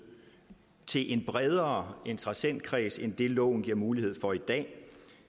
til en bredere interessentkreds end loven giver mulighed for i dag